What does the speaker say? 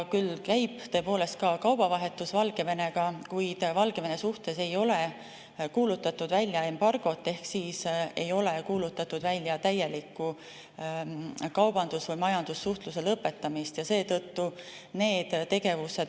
Küll käib tõepoolest ka kaubavahetus Valgevenega, kuid Valgevene suhtes ei ole kuulutatud välja embargot, ehk siis ei ole kuulutatud välja täielikku kaubandus‑ või majandussuhtluse lõpetamist.